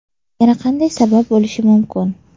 Yana qanday sabab bo‘lishi mumkin?